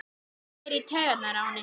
Hann fer í taugarnar á henni.